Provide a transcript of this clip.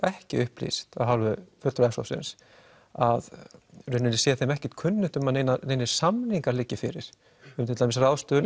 ekki upplýst af hálfu s hópsins að í rauninni sé þeim ekki kunnugt að neinir neinir samningar liggi fyrir um til dæmis ráðstöfun